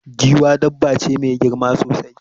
Giwa dabba ce mai girma sosai.